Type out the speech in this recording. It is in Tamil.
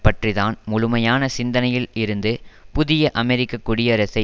பற்றி தான் முழுமையான சிந்தனையில் இருந்து புதிய அமெரிக்க குடியரசை